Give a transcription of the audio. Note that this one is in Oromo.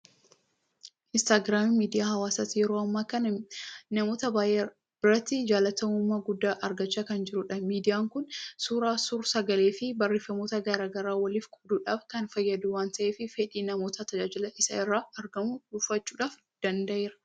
Iinistaagiraamiin miidiyaa hawaasaati. Yeroo ammaa kana namoota baay'ee biratti jaalatamummaa guddaa argachaa kan jirudha. Miidiyaan kun suura, suursagaleefi barreeffamoota garaa garaa waliif qooduudhaaf kan fayyadu waanta'eef fedhii namootaa tajaajila isa irraa argamuun dhuunfachuu danda'eera.